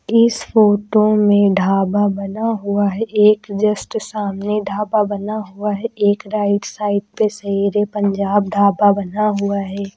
इस फोटो में ढाबा बना हुआ है। एक जस्ट सामने ढाबा बना हुआ है। एक राइट साइड पे शेर-ए-पंजाब ढाबा बना हुआ है।